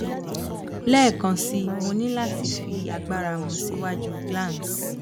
lẹẹkansi mo ni lati fi agbara mu si iwaju glans